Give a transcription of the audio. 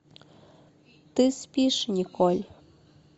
ты спишь николь